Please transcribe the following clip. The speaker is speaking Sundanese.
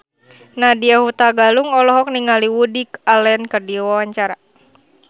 Nadya Hutagalung olohok ningali Woody Allen keur diwawancara